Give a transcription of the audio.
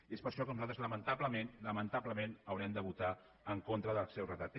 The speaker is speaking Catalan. i és per això que nosaltres lamentablement lamentablement haurem de votar en contra del seu redactat